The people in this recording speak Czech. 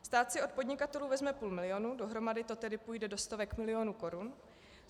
Stát si od podnikatelů vezme půl milionu, dohromady to tedy půjde do stovek milionu korun.